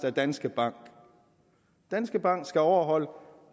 af danske bank danske bank skal overholde